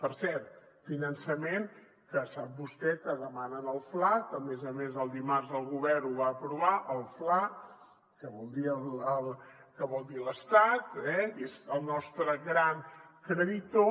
per cert finançament que sap vostè que demanen al fla que a més a més el dimarts el govern ho va aprovar el fla que vol dir l’estat que és el nostre gran creditor